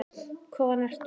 Hvaðan ertu?